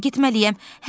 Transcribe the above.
Mən getməliyəm.